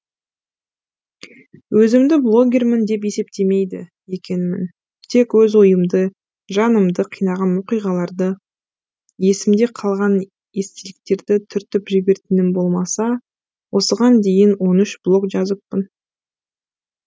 өзімді блогермін деп есептемейді екенмін тек өз ойымды жанымды қинаған оқиғаларды есімде қалған естеліктерді түртіп жіберетінім болмаса осыған дейін он үш блог жазыппын